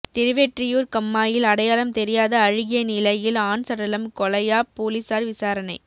திருவெற்றியூா் கண்மாயில் அடையாளம் தெரியாத அழுகிய நிலையில் ஆண் சடலம் கொலையா போலீஸாா் விசாரணை